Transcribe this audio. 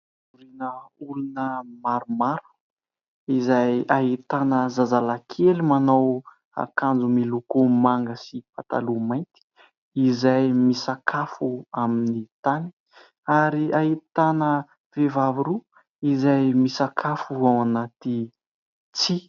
Olona maromaro izay ahitana zazalahy kely manao akanjo miloko manga sy pataloha mainty izay misakafo amin'ny tany ary ahitana vehivavy roa izay misakafo ao anaty tsihy.